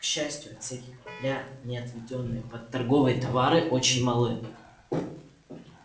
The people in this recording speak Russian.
к счастью отсеки корабля не отведённые под торговые товары очень малы